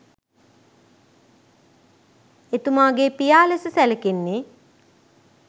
එතුමාගේ පියා ලෙස සැලකෙන්නේ